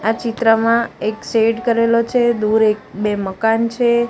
આ ચિત્રમાં એક શેડ કરેલો છે દૂર એક બે મકાન છે.